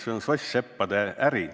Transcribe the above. See on soss-seppade äri.